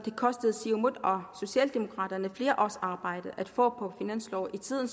kostet siumut og socialdemokraterne flere års arbejde at få på finansloven tiden